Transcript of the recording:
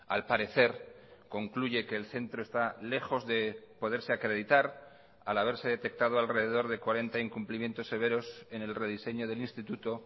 al parecer concluye que el centro está lejos de poderse acreditar al haberse detectado alrededor de cuarenta incumplimientos severos en el rediseño del instituto